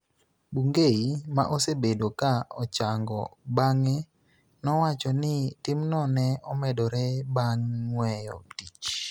Bungei, ma osebedo ka ochango bang�e, nowacho ni timno ne omedore bang� weyo tich.